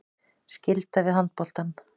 Skylda við handboltann